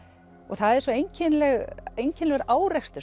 það er svo einkennilegur einkennilegur árekstur